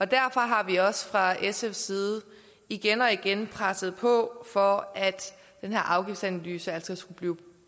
derfor har vi også fra sfs side igen og igen presset på for at den her afgiftsanalyse skulle blive